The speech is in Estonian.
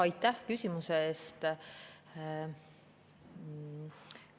Aitäh küsimuse eest!